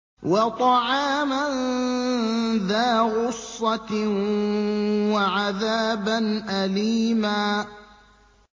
وَطَعَامًا ذَا غُصَّةٍ وَعَذَابًا أَلِيمًا